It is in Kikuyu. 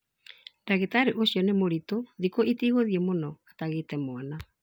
Ndagĩtarĩ ũcio nĩ mũritũ thikũ citigũthie mũno atagĩte mwana